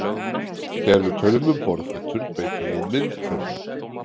Þegar við tölum um borðfætur beitum við myndhvörfum.